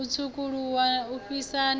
u tswukuluwa u fhisa na